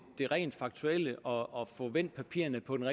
det rent faktuelle og få vendt papirerne på den